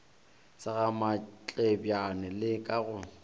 sa gamatlebjane le ka go